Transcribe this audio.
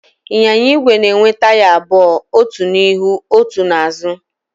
Ịnyịnya igwe na-enwe taya abụọ, otu n'ihu, otu n'azụ.